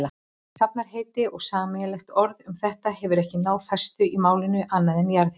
Safnheiti eða sameiginlegt orð um þetta hefur ekki náð festu í málinu, annað en jarðhiti.